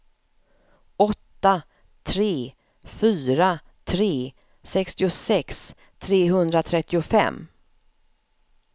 åtta tre fyra tre sextiosex trehundratrettiofem